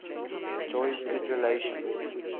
enjoys good relations